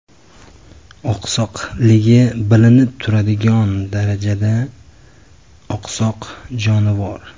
Oqsoqligi bilinib turadigan darajada oqsoq jonivor.